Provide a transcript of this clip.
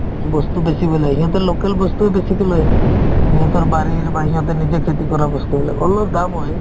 বস্তু বেচিবলৈ আহে সিহঁতে local বস্তুয়ে বেছিকে লৈ আহে সিহঁতৰ বাৰীৰ বা সিহঁতে নিজে খেতি কৰা বস্তুবিলাক অলপ দাম হয়